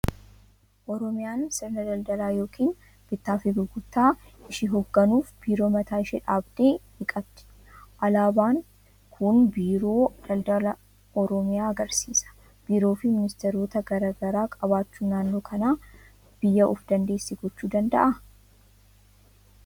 Oromiyaan sirna daldalaa yookiin bittaa fi gurgurtaa ishii hoogganuuf biiroo mataa ishii dabda'e ni qabdi. Alaabaan kun Biiroo Daldala Oromiyaa agarsiisa. Biiroo fi ministeerota garaa garaa qabaachuun naannoo kana biyya of dandeesse gochuu danda'aa?